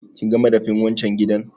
Kinga madafin wan can gidan?